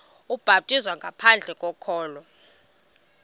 ubhaptizo ngaphandle kokholo